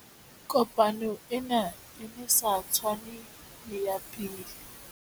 Kopano ena e ne e sa tshwane le ya pele.